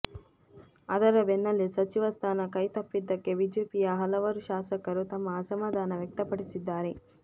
ಅದರ ಬೆನ್ನಲ್ಲೇ ಸಚಿವ ಸ್ಥಾನ ಕೈತಪ್ಪಿದ್ದಕ್ಕೆ ಬಿಜೆಪಿಯ ಹಲವಾರು ಶಾಸಕರು ತಮ್ಮ ಅಸಮಾಧಾನ ವ್ಯಕ್ತಪಡಿಸಿದ್ದಾರೆ